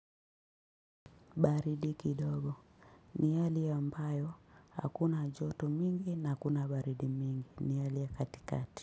Baridi kidogo ni hali ambayo hakuna joto mingi na hakuna baridi mingi ni hali ya katikati.